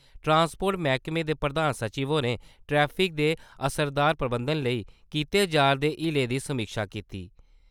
transport मैह्कमे दे प्रधान सचिव होरें ट्रैफिक दे असरदार प्रबंधन लेई कीते जारदे हीलें दी समीक्षा कीती |